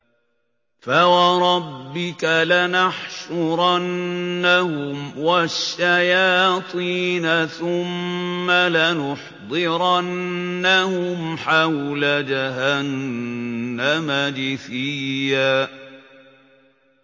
فَوَرَبِّكَ لَنَحْشُرَنَّهُمْ وَالشَّيَاطِينَ ثُمَّ لَنُحْضِرَنَّهُمْ حَوْلَ جَهَنَّمَ جِثِيًّا